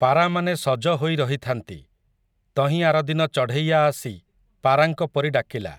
ପାରାମାନେ ସଜ ହୋଇ ରହିଥାନ୍ତି, ତହିଁ ଆରଦିନ ଚଢ଼େଇଆ ଆସି, ପାରାଙ୍କ ପରି ଡାକିଲା ।